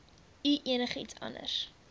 u enigiets anders